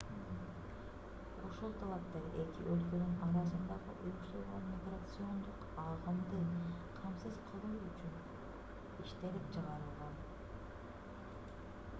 ушул талаптар эки өлкөнүн арасындагы уюштурулган миграциондук агымды камсыз кылуу үчүн иштелип чыгарылган